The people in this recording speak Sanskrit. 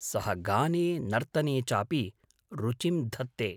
सः गाने नर्तने चापि रुचिं धत्ते।